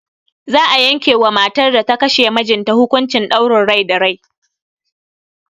Za a yanke ma matar da ta kashe mijinta hukuncin ɗaurin rai da rai.